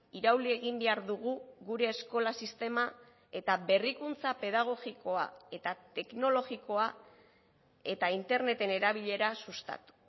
irauli egin behar dugu gure eskola sistema eta berrikuntza pedagogikoa eta teknologikoa eta interneten erabilera sustatu